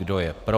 Kdo je pro?